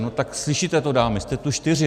No tak slyšíte to dámy, jste tu čtyři.